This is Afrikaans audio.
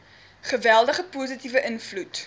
geweldige positiewe invloed